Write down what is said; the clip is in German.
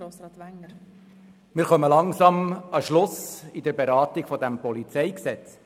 der SiK. Wir gelangen langsam an den Schluss der Beratung dieses Gesetzes.